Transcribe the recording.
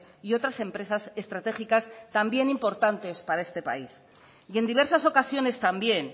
y otras empresas estratégicas también importantes para este país y en diversas ocasiones también